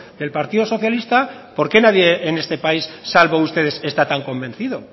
del partido socialista por qué nadie en este país salvo ustedes está tan convencido